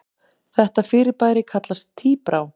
Þetta fyrirbæri kallast tíbrá.